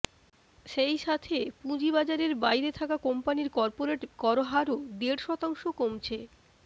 সেই সাথে পুঁজিবাজারের বাইরে থাকা কোম্পানির করপোরেট করহারও দেড় শতাংশ কমছে